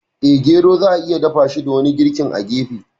Eh, gero za'a iya dafashi da wani girkin a gefe.